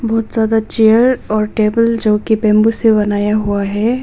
बहुत ज्यादा चेयर और टेबल जो कि बंबू से बनाया हुआ है।